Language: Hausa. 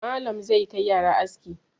Malam zai kai yara aski.